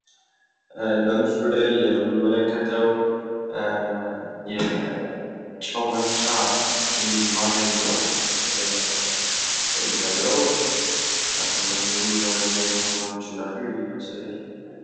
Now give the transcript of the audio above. በምስሉ ላይ የምንመለከተው የጨው መፍጫ ማሽን ነውእንደሚታየው አካባቢው ላይ ብዙ አይነት ማሽኖች እንዳሉ እያሳያል።